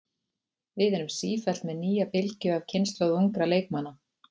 Við erum sífellt með nýja bylgju af kynslóð ungra leikmanna.